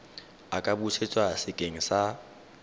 a ka busetswa sekeng sa